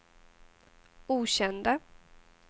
okända